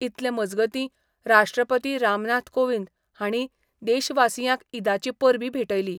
इतले मजगतीं राष्ट्रपती रामनाथ कोविंद हांणी देशवासियांक ईदाची परबीं भेटयली.